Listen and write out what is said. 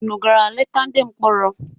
Unu gara leta ndị mkpọrọ?